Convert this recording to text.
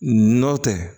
Nɔ tɛ